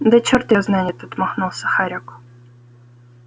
да чёрт её знает отмахнулся хорёк